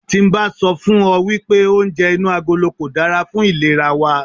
Tí n bá sọ fún ọ wípé oúnjẹ inú agolo kò dára fún ìlera wa.